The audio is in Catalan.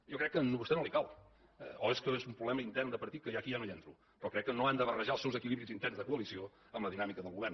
jo crec que a vostè no li cal o és que és un problema intern de partit que aquí ja no hi entro però crec que no han de barrejar els seus equilibris interns de coalició amb la dinàmica del govern